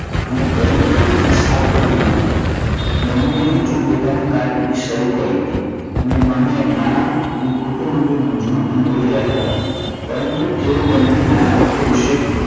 અને ગરીબ વ્યક્તિ સાવ ગરીબ ન હતા. બંને પોતાની કારકિર્દી હજુ શરૂ કરી હતી. અને બંને નાણા અને કુટુંબ અંગે મુજવણ અનુભવી રહ્યા હતા. પરંતુ તેઓ બંને નાણાકીય વિશે